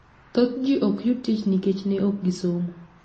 Thoth ji ok yud tich nikech ne ok gisomo.